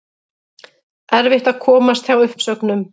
Erfitt að komast hjá uppsögnum